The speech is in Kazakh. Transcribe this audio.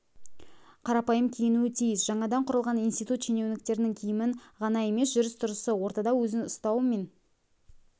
қарапайым киінуі тиіс жаңадан құрылған институт шенеуніктердің киімін ғана емес жүріс-тұрысы ортада өзін ұстау мен